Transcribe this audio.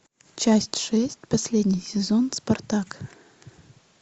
часть шесть последний сезон спартак